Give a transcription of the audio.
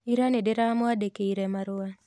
Ira nĩndĩramwandĩkĩire marũa